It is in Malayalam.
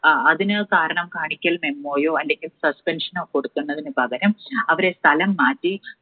അതിന് കാരണം കാണിക്കൽ memo യോ അല്ലെങ്കിൽ suspension നോ കൊടുക്കുന്നതിനു പകരം അവരെ സ്ഥലംമാറ്റി